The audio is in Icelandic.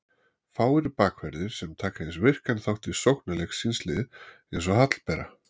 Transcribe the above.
Fáir bakverðir sem taka eins virkan þátt í sóknarleik síns liðs eins og Hallbera.